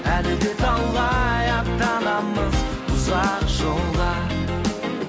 әлі де талай аттанамыз ұзақ жолға